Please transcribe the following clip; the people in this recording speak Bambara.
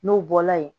N'o bɔla yen